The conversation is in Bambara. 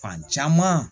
Fan caman